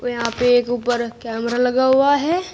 यहां पे ऊपर कैमरा लगा हुआ हैं।